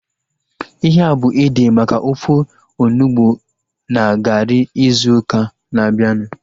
Ihea bụ ede maka ofe onugbu na garị ịzụ ụka na-abianu